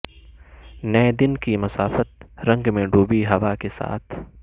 نئے دن کی مسافت رنگ میں ڈوبی ہوا کے ساتھ